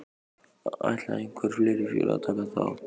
Ætla einhver fleiri félög að taka þátt?